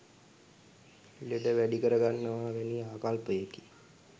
ලෙඩ වැඩි කර ගන්නවා වැනි ආකල්පයකි.